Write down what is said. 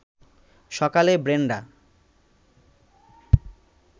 সকালে ব্রেনডা